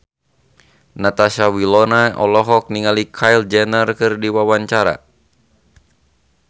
Natasha Wilona olohok ningali Kylie Jenner keur diwawancara